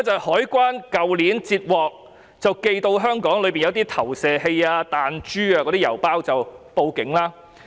海關去年截獲寄到香港的郵包，當中有投射器、彈珠，然後報警。